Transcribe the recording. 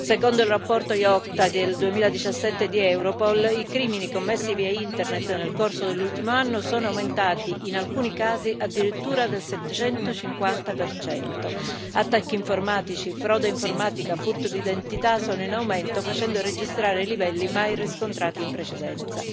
Secondo il rapporto IOCTA del 2017 di Europol, i crimini commessi via Internet nel corso dell'ultimo anno sono aumentati, in alcuni casi, addirittura del 750 attacchi informatici, frode informatica e furto d'identità sono in aumento, facendo registrare livelli mai riscontrati in precedenza.